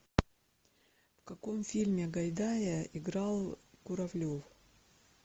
в каком фильме гайдая играл куравлев